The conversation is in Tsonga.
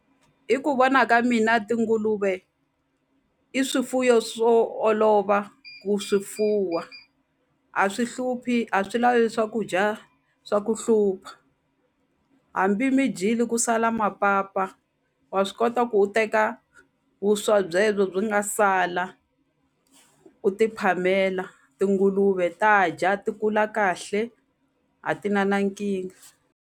Hi ku vona ka mina tinguluve i swifuwo swo olova ku swi fuwa a swi hluphi a swi lavi swakudya swa ku hlupha hambi mi dyile ku sala mapapa wa swi kota ku u teka vuswa byebyo byi nga sala u ti phamela tinguluve ta dya ti kula kahle a ti na na nkingha.